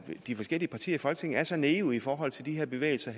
i de forskellige partier i folketinget er så naive i forhold til de her bevægelser